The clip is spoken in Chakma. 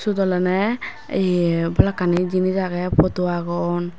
swot olaney ye balokani jinis aagay potu aagon.